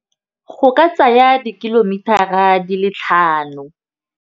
Go ka tsaya di-kilometer-ra di le tlhano.